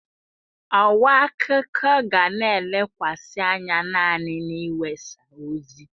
Ọwa akụkọ ga na-elekwasị anya naanị n'iwesa ozi.